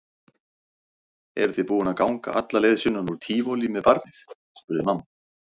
Eruð þið búin að ganga alla leið sunnan úr Tívolí með barnið? spurði mamma.